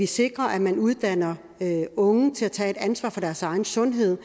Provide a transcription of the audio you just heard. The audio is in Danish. sikre at man uddanner unge til at tage et ansvar for deres egen sundhed og